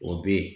O be yen